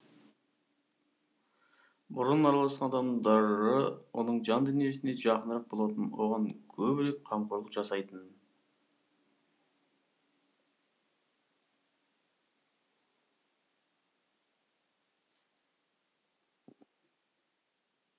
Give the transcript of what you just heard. бұрын араласқан адамдары оның жан дүниесіне жақынырақ болатын оған көбірек қамқорлық жасайтын